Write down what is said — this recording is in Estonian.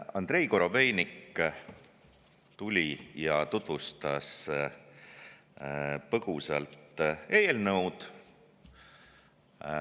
Andrei Korobeinik tuli ja tutvustas põgusalt eelnõu.